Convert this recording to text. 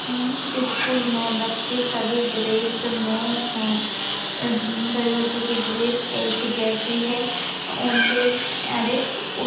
school मे बच्चे सभी ड्रेस मे है सभी बच्चो की ड्रेस एक जेसी है उनके अरे--